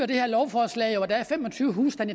det her lovforslag jo at der er femogtyvetusind